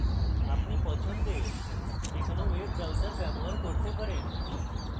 আপনি পছন্দের যে কোনো web browser ব্যবহার করতে পারেন